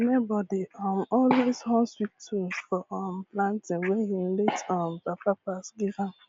my neighbor dey um always hum sweet tune for um planting wey him late um papa pass give am